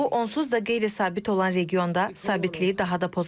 Bu, onsuz da qeyri-sabit olan regionda sabitliyi daha da poza bilər.